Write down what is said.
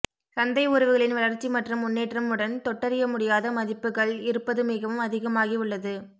சந்தை உறவுகளின் வளர்ச்சி மற்றும் முன்னேற்றம் உடன் தொட்டறியமுடியாத மதிப்புகள் இருப்பது மிகவும் அதிகமாகி உள்ளது